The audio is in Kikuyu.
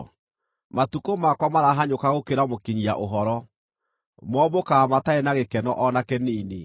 “Matukũ makwa marahanyũka gũkĩra mũkinyia-ũhoro; mombũkaga matarĩ na gĩkeno o na kĩnini.